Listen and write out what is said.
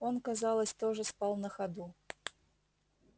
он казалось тоже спал на ходу